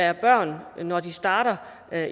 er børn som når de starter